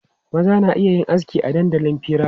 Maza na iya yin aski a dandalin fira.